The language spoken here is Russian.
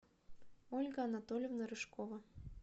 ольга анатольевна рыжкова